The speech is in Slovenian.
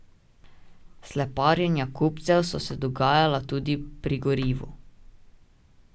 Sleparjenja kupcev so se dogajala tudi pri gorivu.